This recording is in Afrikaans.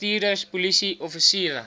bestuurders polisie offisiere